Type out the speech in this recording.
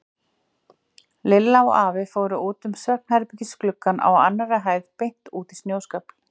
Lilla og afi fóru út um svefnherbergisgluggann á annarri hæð beint út í snjóskafl.